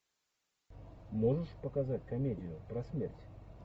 можешь показать комедию про смерть